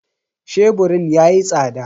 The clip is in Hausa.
Sheburin yayi tsada.